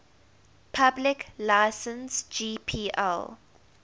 public license gpl